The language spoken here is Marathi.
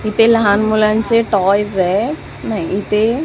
इथे लहान मुलांचे टॉयस येत नाय इथे जी--